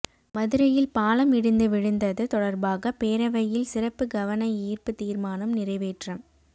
மதுரையில் பாலம் இடிந்து விழுந்தது தொடர்பாக பேரவையில் சிறப்பு கவனஈர்ப்பு தீர்மானம் நிறைவேற்றம்